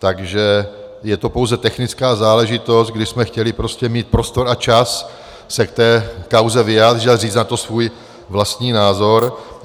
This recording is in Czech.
Takže je to pouze technická záležitost, kdy jsme chtěli prostě mít prostor a čas se k té kauze vyjádřit a říct na to svůj vlastní názor.